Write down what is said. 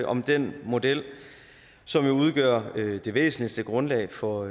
om den model som udgør det væsentligste grundlag for